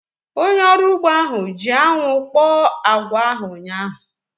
Onye ọrụ ugbo ahu ji anwụ kpọọ agwa ahu ụnyaahụ